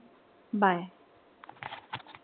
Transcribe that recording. Bye.